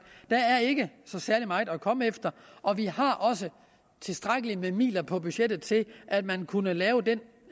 der er ikke så særlig meget at komme efter og vi har også tilstrækkeligt med midler på budgettet til at man kunne lave den